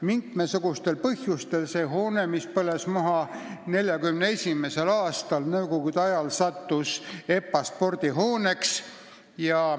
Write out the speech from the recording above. Mitmesugustel põhjustel see hoone, mis põles maha 1941. aastal, sai nõukogude ajal EPA spordihooneks.